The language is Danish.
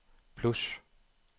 plus